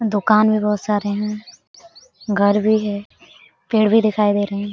दुकान में बहुत सारे हैं घर भी है पेड़ भी दिखाई दे रहे ।